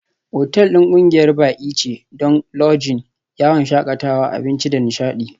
Otal ɗin ƙungiyar baƙi ce don Lodging, yawon shakatawa, abinci da nishaɗi.